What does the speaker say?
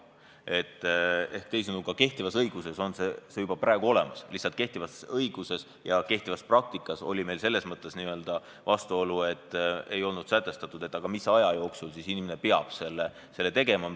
Ehk teisisõnu, kehtivas õiguses on see juba praegu olemas, lihtsalt praktikas on meil selles mõttes olnud vastuolu, et ei ole sätestatud, mis aja jooksul peab inimene peab selle ära tegema.